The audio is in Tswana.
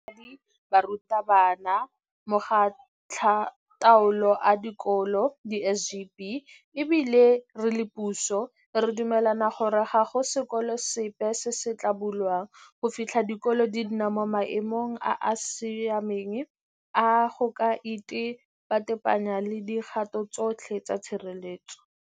Barutabana, Makgotlataolo a Dikolo di-SGB e bile re le puso, re a dumelana gore ga go sekolo sepe se se tla bulwang go fitlha dikolo di nna mo maemong a a siameng a go ka itepatepanya le dikgato tsotlhe tsa tshireletsego.